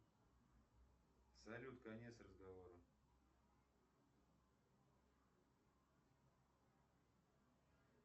салют конец разговора